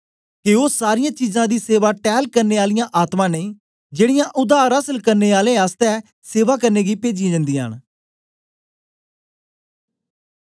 के ओ सारीयां परमेसर दी सेवा टैल करने आलियां आत्मा नेई जेड़ीयां उद्धार आसल करने आलें आसतै सेवा करने गी पेजीयां जन्दीयां न